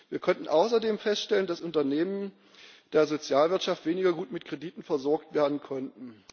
Wir konnten außerdem feststellen, dass Unternehmen der Sozialwirtschaft weniger gut mit Krediten versorgt werden konnten.